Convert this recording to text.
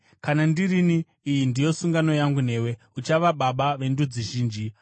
“Kana ndirini, iyi ndiyo sungano yangu newe: Uchava baba vendudzi zhinji.